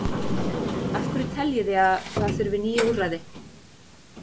Af hverju teljið þið að það þurfi ný úrræði?